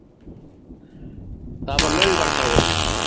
Það var laugardagur.